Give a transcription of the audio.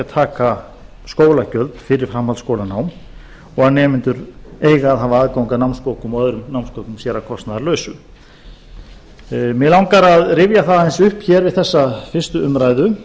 taka skólagjöld fyrir framhaldsskólanám og að nemendur eiga að hafa aðgang að námsbókum og öðrum námsgögnum sér að kostnaðarlausu mig langar að rifja það aðeins upp hér við þessa fyrstu umræðu